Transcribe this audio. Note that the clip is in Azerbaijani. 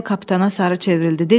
Paqanel kapitana sarı çevrildi.